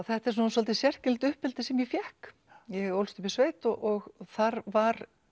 þetta er svolítið sérkennilegt uppeldi sem ég fékk ég ólst upp í sveit og þar var